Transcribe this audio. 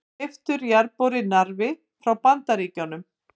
Keyptur jarðborinn Narfi frá Bandaríkjunum.